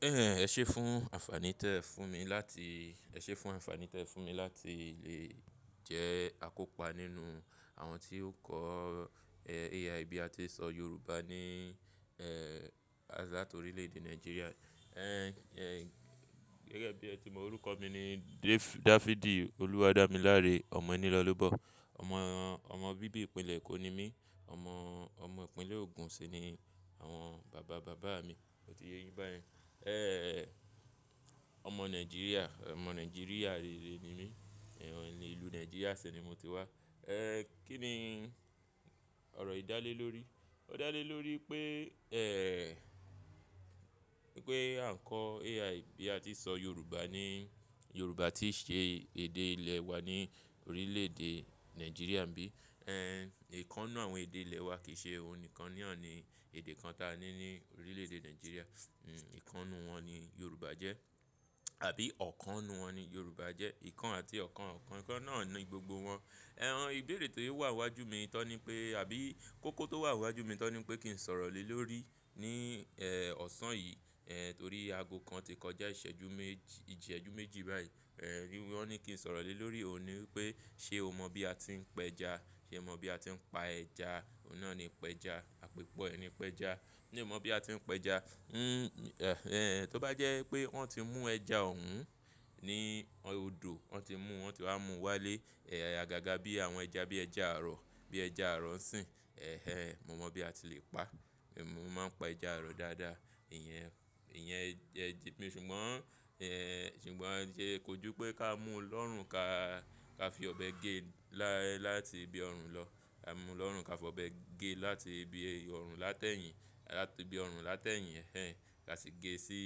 Ẹ ṣe fún àǹfààní tẹ fún mi láti, ẹ ṣe fún àǹfààní tẹ fún mi láti lè jẹ́ akópa nínú àwọn tí ó kọ́, ẹ, A1 bí a ti ń sọ Yorùbá ní, ẹ́, láti orílè-èdè Nàìjíríà. Ẹ̀hẹn, gẹ́gẹ́ bí ẹ ti mọ orúkọ mi ni Da-Dáfídì Olúwádámiláre Ọmọnílọ́lọ́bọ. Ọmọ, ọmọ bíbí ìpínlẹ̀ Èkó ni mí. Ọmọ, ọmọ ìpínlẹ̀ Ògùn sì ni àwọn bàbá bàbá mi. Mo ti yé yín báyìí. Ẹ̀hẹn, ọmọ Nàìjíríà, ọmọ Nàìjíríà rere ni mí. Ẹ̀hẹn, ní ìlú Nàìjíríà ṣè ni mo ti wá. Ẹ́, kí ni ọ̀rọ̀ yiì dá lé lórí? Ò dá lé lórí pé, ẹ́, pé à ń kọ́ Al bí a ti ń sọ Yorùbá ní Yorùbá tí íṣe èdè ilẹ̀ wa ní orílè-èdè Nàìjíríà bí. Ẹ̀hẹn, è kan ninu àwọn èdè ilẹ̀ wa kì í ṣe òun nìkan ni hàn ni èdè kan ta ní ní orílè-èdè Nàìjíríà. Hmm, èèkàn ninu wọn ni Yorùbá jẹ́ àbí ọ̀kan ninu wọn ni Yorùbá jẹ́. Ìkan àti ọ̀kan, ọ̀kan, ìkan náà ni gbogbo wọn. Ẹ̀hẹn, ìbéèrè tó yẹ wà wájú mi tọ́ ni pé àbí kókó tó wà wájú mi tọ́ ni pé kí n sọ̀rọ̀ lé lórí ní, ẹ́, ọ̀sán yìí. Ẹ̀hẹn, torí aago kan ti kọjá ìṣẹ́jú méjì, ìseju méjì báyìí. Ẹ̀hẹn, wí wọ́n ní kí n sọ̀rọ̀ lé lórí òun ni pé ṣe o mọ bí a ti ń pẹja? Ṣe o mọ bí a ti ń pa ẹja? Òun náà ni pẹja. Àpèpẹ ni pẹja. Mi o mọ bí a ti ń pẹja. Hmm, ẹ́, tó bá jẹ́ pé wọ́n ti mú ẹja ọ̀wùn ní odò, wọ́n ti mú, wọ́n sì wá mú wá lé, ẹ́, àgàgà bí àwọn ẹja bí ẹja àrọ, bí ẹja àrọ ń sìn. Ẹ̀hẹn, mo mọ̀ bí a ti lè pa. Mo máa ń pa ẹja àrọ dáadáa. Ìyẹn, ìyẹn jẹ́, èmi ṣùgbọ́n, ẹ́, ṣùgbọ́n jẹ́ kojú pé ká mú un lọ́rùn ka, ka fi ọbẹ̀ gé láti ibi ọ̀rùn lọ. Ka mú lọ́rùn ka fi ọbẹ̀ gé láti ibi ọ̀rùn látẹ̀ yìn, láti ibi ọ̀rùn látẹ̀ yìn. Ẹ̀hẹn, ká sì gé sí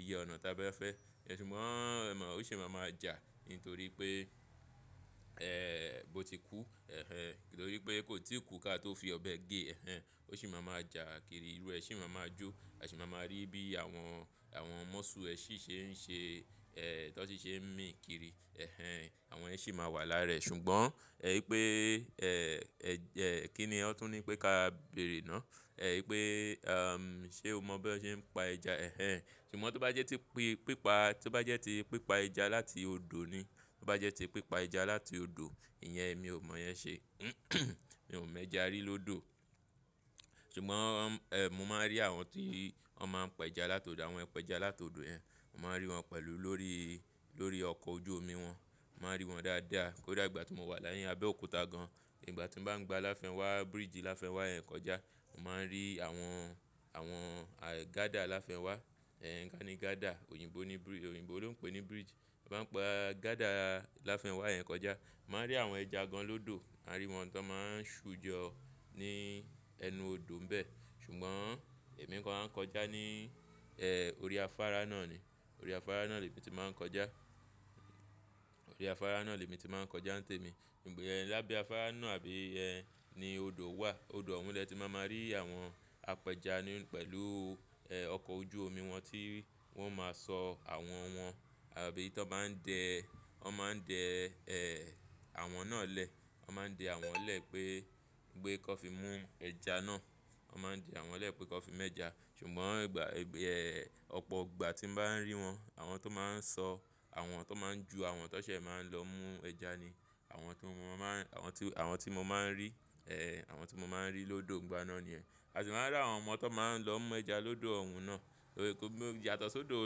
iye ọ̀nà tá bá fẹ́. Ṣùgbọ́n ẹ mọ̀ ó sì máa ma jà nítorí pé, ẹ́, bó ti kú. Ẹ̀hẹn, nítorí pé kó tí kú ká tó fi ọbẹ̀ gé, ẹ̀hẹn, ó sì máa ma jà kiri, irú ẹ sì máa ma jó. A sì máa ma rí bí àwọn, àwọn mọ́sù ẹ sì ṣe ń ṣe, ẹ́, tó sì ṣe ń mì kiri. Ẹ̀hẹn, àwọn yẹn sì máa wà lára ẹ̀. Ṣùgbọ́n, ẹ́, ipé, ẹ́, ẹ́, kí ni wọ́n tún ní pé ká béèrè náà? Ẹ̀, ipé, ṣe o mọ bí wọ́n ṣe ń pa ẹja? Ẹ̀hẹn, ṣùgbọ́n tó bá jẹ́ tí pípa, tó bá jẹ́ tí pípa ẹja láti odò ni, tó bá jẹ́ tí pípa ẹja láti odò, ìyẹn èmi ò mọ̀ ìyẹn ṣe. Mi ò mu ẹja rí lódò. Ṣùgbọ́n, mo máa ń rí àwọn tí wọ́n máa ń pẹja látọ̀dọ̀, àwọn apẹja látọ̀dò yẹ̀n. Mo máa ń rí wọn pẹ̀lú lórí, lórí ọkọ̀ ojú omi wọn. Mo máa ń rí wọn dáadáa. Kódà ìgbà tí mo wà ni Abẹ́òkúta gan-an, ìgbà tí bá ń gba Láfẹ́ńwá, bridge Láfẹ́ńwá yẹn kọjá, mo máa ń rí àwọn, àwọn, gádà Láfẹ́ńwá. Gaani gádà, òyìnbó ni, òyìnbó ló ń pè ní bridge. Mo n gbá gádà Láfẹ́ńwá yẹn kọjá, mo wa rí àwọn ẹja ganlódò. A rí wọn tan mọ́ ń ṣujọ ní ẹnu odò ńbẹ. Ṣùgbọ́n èmi kò ra ń kọjá ní, orí afárá náà ni. Orí afárá náà lẹ mi tí màá ń kọjá. Orí afárá náà lẹ mi tí màá ń kọjá ńtẹ̀mi. Ṣùgbọ́n, lábẹ́ afárá náà àbí ẹ ní odò wà. Odò ọ̀wún lẹ́ ti máa ma rí àwọn apẹja ní pẹ̀lú, ọkọ̀ ojú omi wọn tí wọ́n máa sọ àwọn wọn. Àbí tí wọ́n bá ń dẹ, wọ́n máa ń dẹ, ẹ́, àwọn náà lẹ. Wọ́n máa ń dẹ àwọn lẹ pé pe kan fi mú ẹja náà. Wọ́n máa ń dẹ àwọn lẹ pé kan fi mú ẹja. Ṣùgbọ́n ìgbà, ọ̀pọ̀ ìgbà tí n bá ń rí wọn, àwọn tó máa ń sọ, àwọn tó máa ń ju, àwọn tó ṣẹ̀ máa ń lọ mú ẹja ni àwọn tí mo máa ń, àwọn tí, àwọn tí mo máa ń rí. Àwọn tí mo máa ń rí lódò n gbà náà ni yẹn. A sì máa rí àwọn ọmọ tó máa ń lọ mú ẹja lódò ọ̀wún náà. Ọ̀rẹ́ kò ní yàtọ̀ sí odò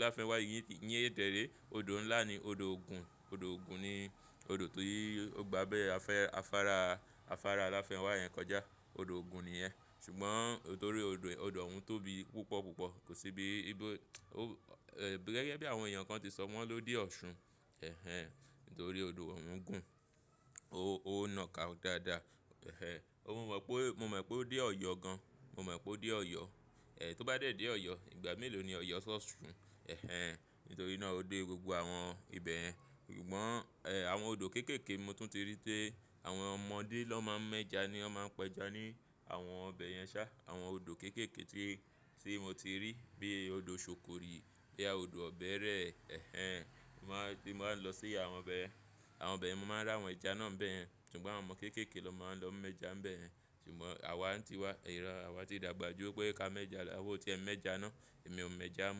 Láfẹ́ńwá iyen, dẹ̀ re. Odò ńlá ni odò Ògùn. Odò Ògùn ni odò ti ó gbà abẹ afá-afárá, afárá Láfẹ́ńwá yẹn kọjá. Odò Ògùn ni yẹ. Ṣùgbọ́n nítorí odò, odò ọ̀hún tóbi púpọ̀ púpọ̀. Kò sí bí, bí ó, gẹ́gẹ́ bí àwọn èèyàn kan ti sọ wọ́n ló dé Ọ̀ṣun. Ẹ̀hẹn, nítorí odò ọ̀wún gùn. Ó, ó na ka dáadáa. Ẹ̀hẹn, mo mọ̀ pé, mo mọ̀ pé ó dé Ọ̀yọ́ gan-an. Mo mọ̀ pé ó dé Ọ̀yọ́. Ẹ̀, tó bá dé dé Ọ̀yọ́, ìgbà mélòó ni Ọ̀yọ́ sọ Ọ̀ṣun? Ẹ̀hẹn, nítorí náà ó dé gbogbo àwọn ibẹ̀ yẹn. Ṣùgbọ́n, ẹ́, àwọn odò kéékèèké mo tún ti rí pe àwọn ọmọdé ló máa ń mú ẹja ni wọ́n máa ń pẹja ní àwọn ibẹ̀ yẹn sá. Àwọn odò kéékèèké tí, tí mo ti rí bíi odò ṣòkòrì bíi odò ọ̀bẹẹrẹ. Ẹ̀hẹn, màá, bí mo bá ń lọ sí àwọn ibẹ̀, àwọn ibẹ̀ yẹn, mo máa rí àwọn ẹja náà ń bẹ̀ yẹn. Ṣùgbọ́n àwọn ọmọ kéékèèké ló máa ń lọ mú ẹja ń bẹ̀ yẹn. Ṣùgbọ́n àwa ń ti wá, iro àwa ti dàgbà ju wọ́n pé ká mú ẹja lọ. Awa ò tí ẹ mú ẹja náà. Èmi ò mo ẹja mu.